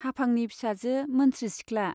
हाफांनि फिसाजो मोनस्रि सिख्ला।